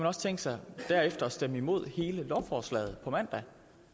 også tænkt sig derefter at stemme imod hele lovforslaget på mandag